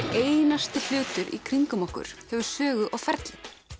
einasti hlutur í kringum okkur hefur sögu og ferli